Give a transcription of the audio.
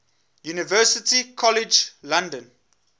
university college london